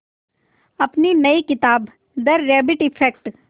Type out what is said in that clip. अपनी नई किताब द रैबिट इफ़ेक्ट